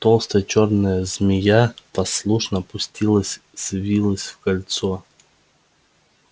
толстая чёрная змея послушно опустилась свилась в кольцо